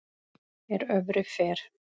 er öfri fer